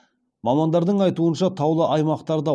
мамандардың айтуынша таулы аймақтарда